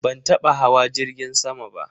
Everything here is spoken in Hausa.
Ban taba hawa jirgin sama ba.